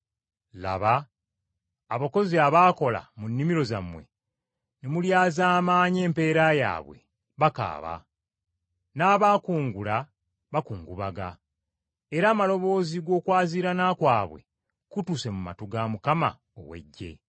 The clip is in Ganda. Laba abakozi abaakola mu nnimiro zammwe ne mulyazaamaanya empeera yaabwe, bakaaba, n’abaakungula bakungubaga, era amaloboozi g’okwaziirana kwabwe gatuuse mu matu ga Mukama ow’Eggye.